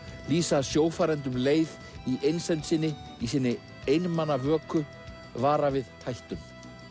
vísa sjófarendum leið í einsemd sinni í sinni einmana vöku vara við hættum